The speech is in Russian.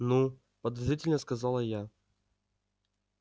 ну подозрительно сказала я